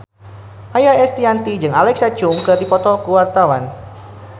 Maia Estianty jeung Alexa Chung keur dipoto ku wartawan